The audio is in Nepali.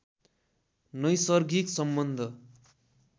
नैसर्गिक सम्बन्ध